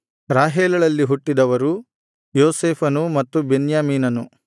ರಾಹೇಲಳಲ್ಲಿ ಹುಟ್ಟಿದವರು ಯೋಸೇಫನು ಮತ್ತು ಬೆನ್ಯಾಮೀನನು